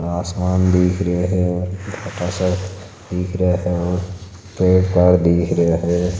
आसमान दिख रहा है और छोटा सा दिख रहा है और पेड़ तार दिख रा है।